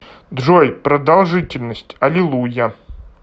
джой продолжительность алилуйя